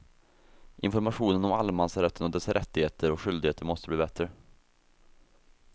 Informationen om allemansrätten och dess rättigheter och skyldigheter måste bli bättre.